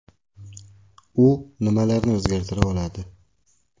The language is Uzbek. U nimalarni o‘zgartira oladi?